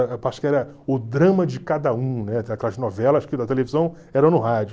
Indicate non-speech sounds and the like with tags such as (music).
(unintelligible) que era O Drama de Cada Um (unintelligible) aquelas novelas que (unintelligible) televisão eram no rádio.